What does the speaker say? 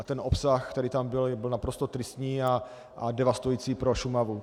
A ten obsah, který tam byl, byl naprosto tristní a devastující pro Šumavu.